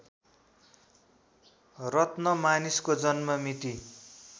रत्न मानिसको जन्ममिति